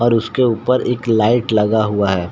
और उसके ऊपर एक लाइट लगा हुआ है।